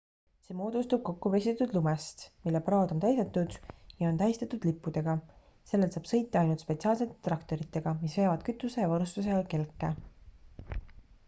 see moodustub kokkupressitud lumest mille praod on täidetud ja on tähistatud lippudega sellel saab sõita ainult spetsiaalsete traktoritega mis veavad kütuse ja varustusega kelke